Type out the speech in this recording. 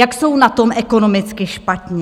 Jak jsou na tom ekonomicky špatně?